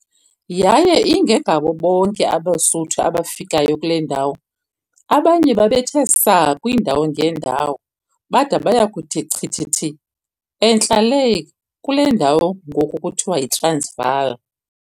Yaye ingengabo bonke abeSuthu abafikayo kule ndawo, abanye babethe saa kwiindawo ngeendawo, bada baya kuthi chithithi entla lee kule ndawo ngoku kuthiwa yiTransvaal.